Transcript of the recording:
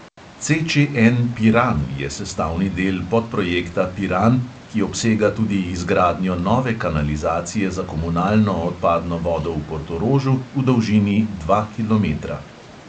CČN piran je sestavni del podprojekta piran, ki obsega tudi izgradnjo nove kanalizacije za komunalno odpadno vodo v portorožu v dolžini dva kilometra.